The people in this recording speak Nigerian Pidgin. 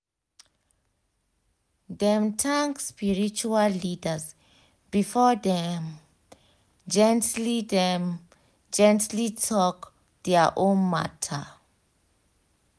dem thank spiritual leaders before dem gently dem gently talk dia own matter